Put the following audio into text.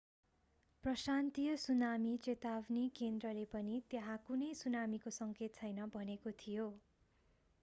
प्रशान्तीय tsunami चेतावनी केन्द्रले पनि त्यहाँ कुनै सुनामीको सङ्केत छैन भनेको थियो